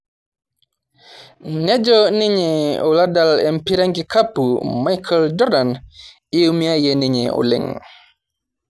nejo ninye oladal empira enkikapu Micheal Jordan eumie ninye oleng'